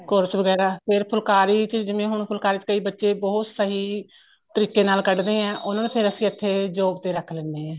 course ਵਗੈਰਾ ਫੇਰ ਫੁਲਕਾਰੀ ਚ ਜਿਵੇਂ ਹੁਣ ਫੁਲਕਾਰੀ ਚ ਕਈ ਬੱਚੇ ਬਹੁਤ ਸਹੀ ਤਰੀਕੇ ਨਾਲ ਕੱਡਦੇ ਏ ਉਹਨਾ ਨੂੰ ਫੇਰ ਅਸੀਂ ਇੱਥੇ job ਤੇ ਰੱਖ ਲੈਣੇ ਆ